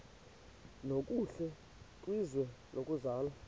nokuhle kwizwe lokuzalwa